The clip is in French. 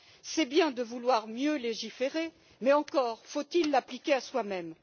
C'est bien de vouloir mieux légiférer, mais encore faut il l'appliquer à soi même.